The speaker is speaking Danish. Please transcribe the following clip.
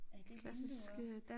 Er det vinduer?